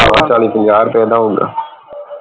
ਚਾਲੀ ਪੰਜਾਹ ਰੁਪਏ ਦਾ ਹੋਊਗਾ